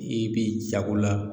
I b'i jago la